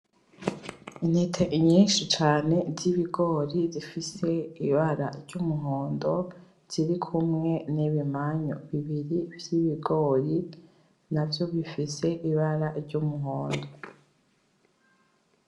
Intete nyinshi cane z'ibigori zifise ibara ry'umuhondo ziri kumwe n'ibimanyu bibiri vy'ibigori navyo bifise ibara ry'umuhondo .